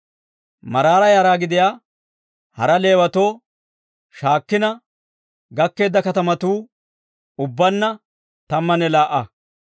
Maraara yara gidiyaa hara Leewatoo shaakkina gakkeedda katamatuu ubbaanna tammanne laa"a.